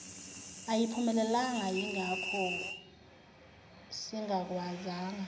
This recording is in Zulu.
ayiphumelelanga yingakho singakwazanga